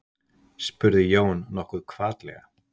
spurði Jón nokkuð hvatlega.